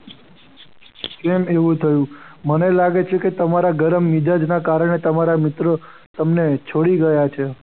કેમ એવું થયું? મને લાગે છે કે તમારા ગરમ મિજાજ ના કારણે તમારા મિત્રો તમને છોડી ગયા છે.